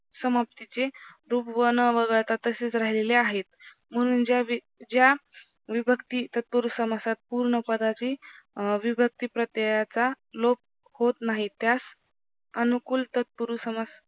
समाप्तीचे रूप वन वगळता तसेच राहिलेले आहेत म्हणून ज्या ज्या विभक्ती तत्पुरुष समासात पूर्ण पदाची विभक्ती प्रतेयचा लोक होत नाही त्यास अनुकूल तत्पुरुष समास